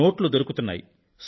నోట్లు దొరుకుతున్నాయి